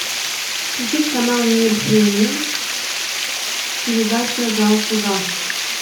включить канал мир премиум передача зал суда